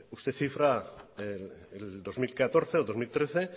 usted cifra el dos mil catorce o el dos mil trece